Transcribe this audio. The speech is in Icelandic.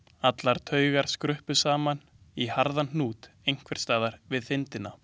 Allar taugar skruppu saman í harðan hnút einhvers staðar við þindina.